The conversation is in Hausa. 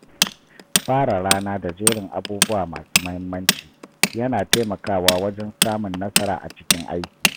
Fara rana da jerin abubuwa masu muhimmanci yana taimakawa wajen samun nasara a cikin aiki.